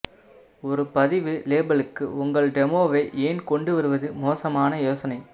ஒரு பதிவு லேபலுக்கு உங்கள் டெமோவை ஏன் கொண்டு வருவது மோசமான யோசனை